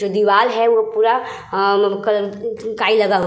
जो दीवाल है वो पूरा काई लगा--